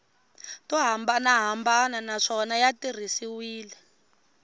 to hambanahambana naswona ya tirhisiwile